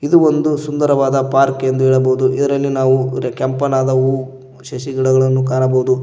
ಇದು ಒಂದು ಸುಂದರವಾದ ಪಾರ್ಕ್ ಎಂದು ಹೇಳಬಹುದು ಇದರಲ್ಲಿ ನಾವು ಕೆಂಪುನಾದ ಹೂ ಸೇಸಿ ಗಿಡಗಳನ್ನು ಕಾಣಬಹುದು.